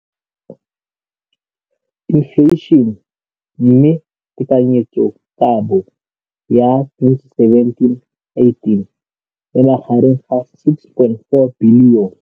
Infleišene, mme tekanyetsokabo ya 2017, 18, e magareng ga R6.4 bilione.